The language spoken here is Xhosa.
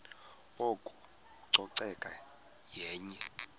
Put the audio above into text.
oko ucoceko yenye